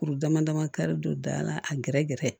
Kuru dama dama ka don da la a gɛrɛ gɛrɛ